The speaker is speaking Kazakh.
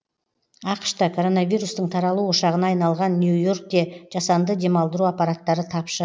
ақш та коронавирустың таралу ошағына айналған нью и оркте жасанды демалдыру аппараттары тапшы